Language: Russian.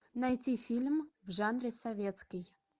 найти фильм в жанре советский